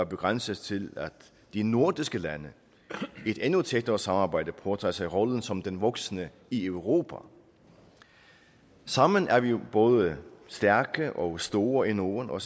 begrænses til at de nordiske lande i et endnu tættere samarbejde påtager sig rollen som den voksne i europa sammen er vi jo både stærke og store i norden og